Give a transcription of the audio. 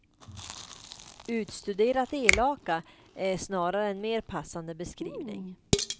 Utstuderat elaka är snarare en mer passande beskrivning.